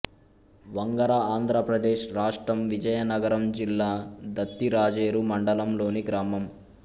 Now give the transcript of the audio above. వంగర ఆంధ్ర ప్రదేశ్ రాష్ట్రం విజయనగరం జిల్లా దత్తిరాజేరు మండలం లోని గ్రామం